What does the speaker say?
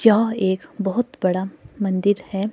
यहां एक बहोत बड़ा मंदिर है।